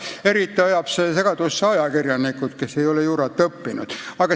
Eriti ajab see segadusse ajakirjanikud, kes ei ole juurat õppinud.